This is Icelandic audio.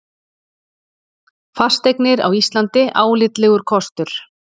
Fasteignir á Íslandi álitlegur kostur